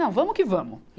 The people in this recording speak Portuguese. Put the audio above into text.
Não, vamos que vamos. e